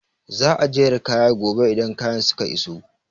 Za a jera kaya gobe idan kayan suka iso